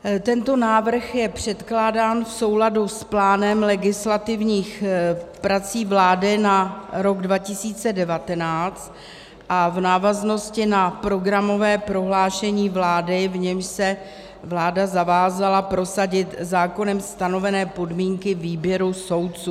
Tento návrh je předkládán v souladu s plánem legislativních prací vlády na rok 2019 a v návaznosti na programové prohlášení vlády, v němž se vláda zavázala prosadit zákonem stanovené podmínky výběru soudců.